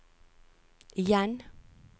igjen